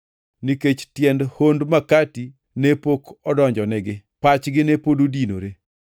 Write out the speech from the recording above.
nikech tiend hond makati ne pok odonjonigi. Pachgi ne pod odinore.